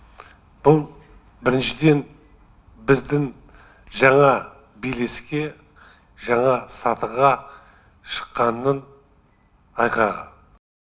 бұл біріншіден біздің жаңа белеске жаңа сатыға шыққанның айғағы